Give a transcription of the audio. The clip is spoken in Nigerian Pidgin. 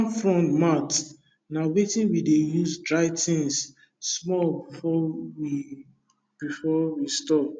palm frond mat na wetin we dey use dry things small before we before we store